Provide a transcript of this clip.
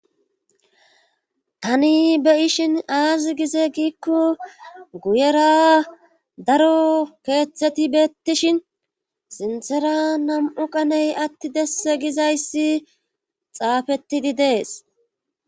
Tani be ishin aazi gize giikko guyera daro keeththeti bettishin sinthera nam'u qaney atti desse gizayssi xaafettidi dees.